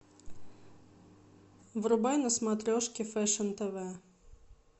врубай на смотрешке фэшн тв